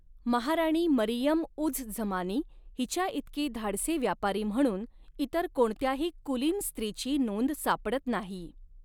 महाराणी मरियम उझ झमानी हिच्याइतकी धाडसी व्यापारी म्हणून इतर कोणत्याही कुलीन स्त्रीची नोंद सापडत नाही.